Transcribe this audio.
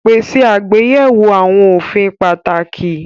Pèsè àgbéyẹ̀wò àwọn òfin pàtàkì